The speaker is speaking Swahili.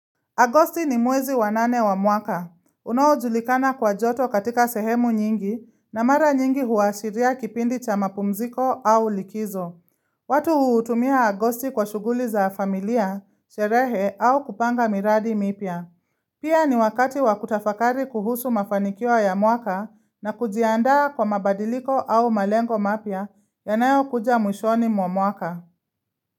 Agosti ni mwezi wa nane wa mwaka. Unaojulikana kwa joto katika sehemu nyingi na mara nyingi huashiria kipindi cha mapumziko au likizo. Watu hutumia agosti kwa shuguli za familia, sherehe au kupanga miradi mipya. Pia ni wakati wakutafakari kuhusu mafanikio ya mwaka na kujiandaa kwa mabadiliko au malengo mapya yanayo kuja mwishoni mwa mwaka.